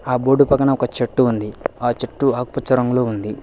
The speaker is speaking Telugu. ఆ బోర్డు పక్కన ఒక చెట్టు ఉంది ఆ చెట్టు ఆకుపచ్చ రంగులో ఉంది.